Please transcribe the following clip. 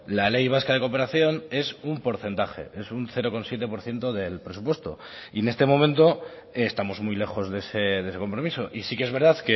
la ley vasca de cooperación es un porcentaje es un cero coma siete por ciento del presupuesto y en este momento estamos muy lejos de ese compromiso y sí que es verdad